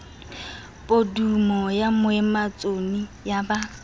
podumo ya moemanotshi ya ba